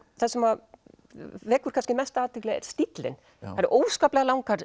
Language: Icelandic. það sem að vekur kannski mesta athygli er stíllinn það eru óskaplega langar